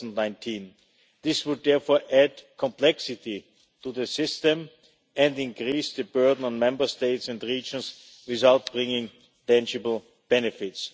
2019. This would therefore add complexity to the system and increase the burden on Member States and regions without bringing tangible benefits.